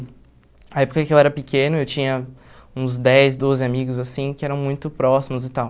Na época em que eu era pequeno, eu tinha uns dez, doze amigos assim, que eram muito próximos e tal.